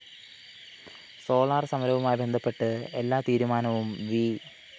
solar സമരവുമായി ബന്ധപ്പെട്ട് എല്ലാതീരുമാനവും വി